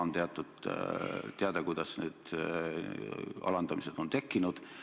On teada, kuidas need alandamised on tekkinud.